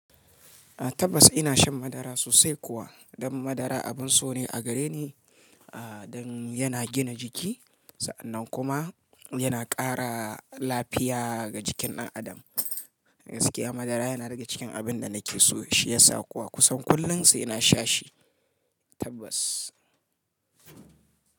Tabbas ina shan madara sosai kuwa, dan madara abin so ne a gare ni, aa dan yana gina jiki, sa'annan kuma yana ƙara lafiya ga jikin ɗan adam. Gaskiya madara yana rage cikin abin da nake so shi yasa kuwa kusan kullum sai ina sha shi, tabbas.